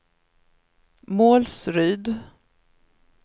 Målsryd